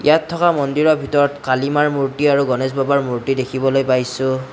ইয়াত থকা মন্দিৰৰ ভিতৰত কলীমাৰ মূৰ্তি আৰু গণেশ বাবাৰ মূৰ্তি দেখিবলৈ পাইছোঁ।